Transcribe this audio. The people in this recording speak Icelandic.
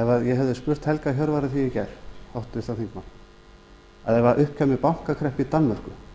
eða ég hefði spurt helga hjörvar að því í gær háttvirtan þingmann að ef upp kæmi bankakreppa í danmörku